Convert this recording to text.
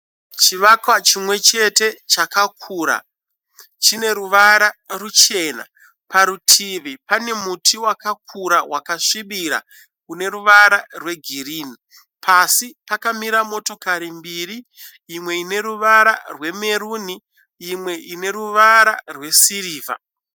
Chivakwa chimwe chete chakakura, chine ruvara ruchena. Parutivi pane muti wakakura wakasvibira une ruvara rwegirini. Pasi pakamira motokari mbiri imwe ine ruvara rwemeruni imwe ine ruvara rwesirivha.